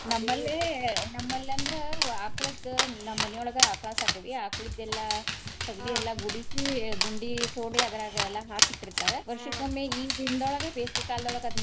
ನಮ್ಮಲ್ಲಂದ್ರ ಆಕಳದ್ದ್ ನಮ್ಮ್ ಮನಿಯೊಳಗ ಆಕಳಾ ಸಾಕೆವಿ. ಆಕ್ಳದೆಲ್ಲಾ ಸೆಗಣಿ ಗುಡಿಸಿ ಗುಂಡಿ ತೋಡಿ ಅದ್ರಾಗ ಎಲ್ಲಾ ಹಾಕಿ ಇಟ್ಟಿರ್ತಾರ. ಈ ದಿನ್ದೊಳಗ ಬೇಸಿಗೆ ಕಾಲ್ದೊಳಗ ಅದನ್ನ.